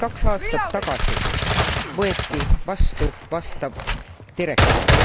aastat tagasi võeti vastu vastav direktiiv.